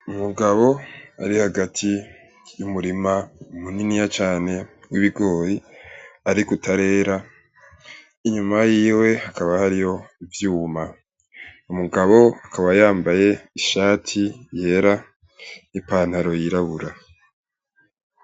Umugabo ari hagati y'umurima muniniya cane w'ibigori ariko utarera. Inyuma yiwe hakaba hariho ivyuma. Umugabo akaba yambaye ishati yera n'ipantaro yirabura.